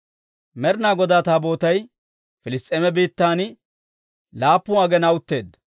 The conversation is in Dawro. Med'inaa Godaa Taabootay Piliss's'eema biittan laappun aginaa utteedda.